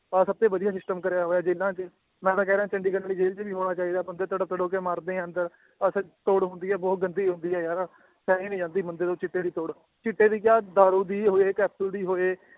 ਆਹ ਸਭ ਤੋਂ ਵਧੀਆ system ਕਰਿਆ ਹੋਇਆ ਜੇਲ੍ਹਾਂ 'ਚ, ਮੈਂ ਤਾਂ ਕਹਿ ਰਿਹਾਂ ਚੰਡੀਗੜ੍ਹ ਵਾਲੀ ਜੇਲ੍ਹ 'ਚ ਵੀ ਹੋਣਾ ਚਾਹੀਦਾ ਬੰਦੇ ਤੜਪ ਤੜਪ ਕੇ ਮਰਦੇ ਹੈ ਅੰਦਰ ਤੋੜ ਹੁੰਦੀ ਹੈ ਬਹੁਤ ਗੰਦੀ ਹੁੰਦੀ ਹੈ ਯਾਰ ਸਹੀ ਨੀ ਜਾਂਦੀ ਬੰਦੇ ਤੋਂ ਚਿੱਟੇ ਦੀ ਤੋੜ, ਚਿੱਟੇ ਦੀ ਕਿਆ ਦਾਰੂ ਦੀ ਹੋਏ ਕੈਪਸੂਲ ਦੀ ਹੋਏ